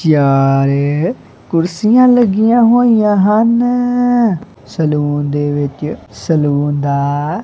ਚਾਰ ਕੁਰਸੀਆਂ ਲੱਗੀਆਂ ਹੋਈਆਂ ਹਨ ਸਲੂਨ ਦੇ ਵਿੱਚ ਸਲੂਨ ਦਾ--